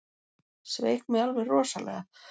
Sveik mig alveg rosalega.